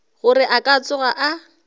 gore a ka tsoga a